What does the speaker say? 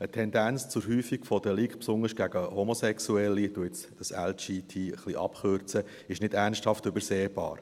Eine Tendenz zur Häufung von Delikten, besonders gegen Homosexuelle – ich kürze LGBTI ein wenig ab –, ist nicht ernsthaft übersehbar.